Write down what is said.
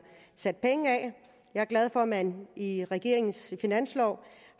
sat penge af jeg er glad for at man i regeringens finanslov